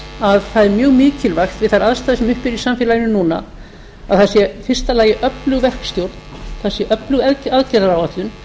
að það er mjög mikilvægt við þær aðstæður sem uppi eru í samfélaginu núna að það sé í fyrsta lagi öflug verkstjórn það sé öflug aðgerðaáætlun það